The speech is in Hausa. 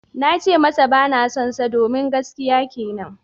Na ce masa ba na sonsa domin gaskiya kenan.